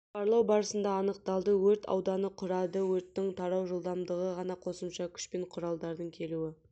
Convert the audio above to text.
барлау барысында анықталды өрт ауданы құрады өрттің тарау жылдамдығы дана қосымша күш пен құралдардың келуі